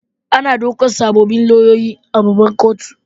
Ana ɗaukar sabbin lauyoyi a babbar kotu.